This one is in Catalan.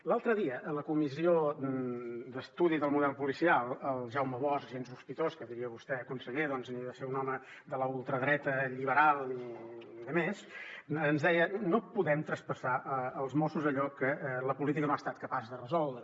l’altre dia a la comissió d’estudi sobre el model policial el jaume bosch gens sospitós que diria vostè conseller de ser un home de la ultradreta lliberal i demés ens deia no podem traspassar als mossos allò que la política no ha estat capaç de resoldre